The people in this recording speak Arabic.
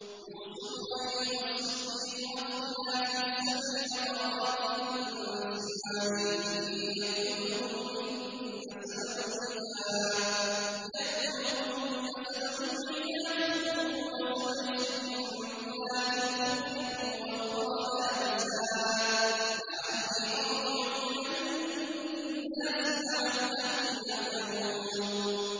يُوسُفُ أَيُّهَا الصِّدِّيقُ أَفْتِنَا فِي سَبْعِ بَقَرَاتٍ سِمَانٍ يَأْكُلُهُنَّ سَبْعٌ عِجَافٌ وَسَبْعِ سُنبُلَاتٍ خُضْرٍ وَأُخَرَ يَابِسَاتٍ لَّعَلِّي أَرْجِعُ إِلَى النَّاسِ لَعَلَّهُمْ يَعْلَمُونَ